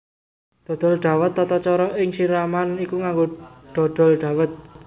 Dodol Dhawet Tatacara ing siraman iku nganggo dodol dhawèt